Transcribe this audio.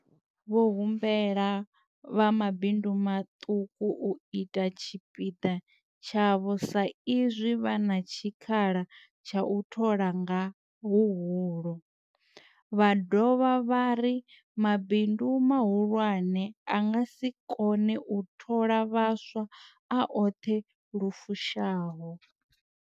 Vho humbela vha mabindu maṱuku u ita tshipiḓa tshavho sa izwi vha na tshikhala tsha u thola nga huhulu, vha dovha vha ri mabindu mahulwane a nga si kone u thola vhaswa a oṱhe lu fushaho.